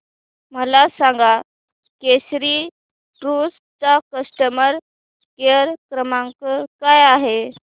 मला सांगा केसरी टूअर्स चा कस्टमर केअर क्रमांक काय आहे